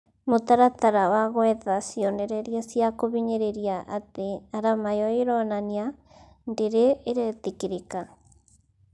Mũtaratara wa gwetha cionereria cia kuhinyĩrĩria atĩ arama ĩyo ĩronania ndĩrĩ ĩretĩkĩrĩka